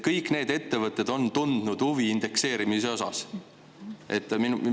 Kõik need ettevõtted on nagu tundnud huvi indekseerimise vastu.